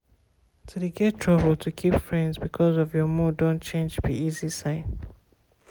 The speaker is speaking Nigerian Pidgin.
to de get trouble to keep friends because of your mood done change be easy sign.